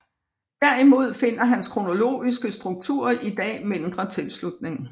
Derimod finder hans kronologiske struktur i dag mindre tilslutning